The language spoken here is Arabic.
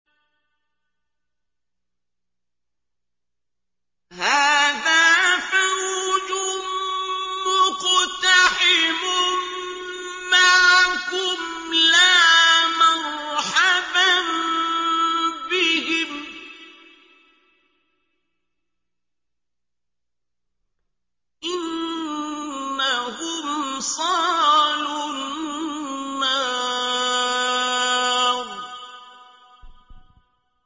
هَٰذَا فَوْجٌ مُّقْتَحِمٌ مَّعَكُمْ ۖ لَا مَرْحَبًا بِهِمْ ۚ إِنَّهُمْ صَالُو النَّارِ